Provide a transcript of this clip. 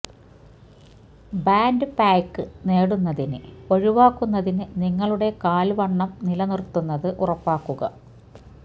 band pack നേടുന്നതിന് ഒഴിവാക്കുന്നതിന് നിങ്ങളുടെ കാൽ വണ്ണം നിലനിർത്തുന്നത് ഉറപ്പാക്കുക